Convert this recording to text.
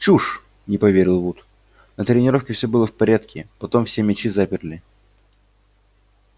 чушь не поверил вуд на тренировке все было в порядке потом все мячи заперли